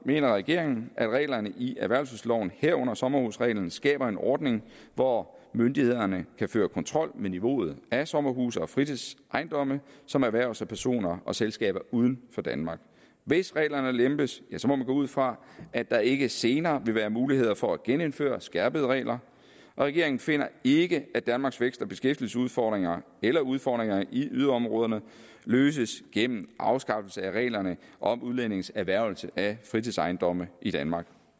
mener regeringen at reglerne i erhvervelsesloven herunder sommerhusreglen skaber en ordning hvor myndighederne kan føre kontrol med niveauet af sommerhuse og fritidsejendomme som erhverves af personer og selskaber uden for danmark hvis reglerne lempes må man gå ud fra at der ikke senere vil være mulighed for at genindføre skærpede regler og regeringen finder ikke at danmarks vækst og beskæftigelsesudfordringer eller udfordringerne i yderområderne løses gennem afskaffelse af reglerne om udlændinges erhvervelse af fritidsejendomme i danmark